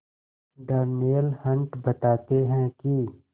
Darnell Hunt बताते हैं कि